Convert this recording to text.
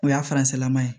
O y'a faransilaman ye